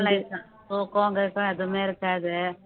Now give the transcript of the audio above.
தான் தூக்கம் கீக்கம் எதுவுமே இருக்காது